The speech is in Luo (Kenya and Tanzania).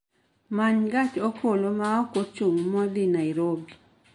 Many gach okolo ma ok ochung' modhi Nairobi